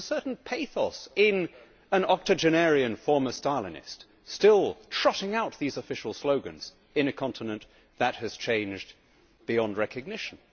There was a certain pathos in an octogenarian former Stalinist still trotting out these official slogans in a continent that has changed beyond recognition.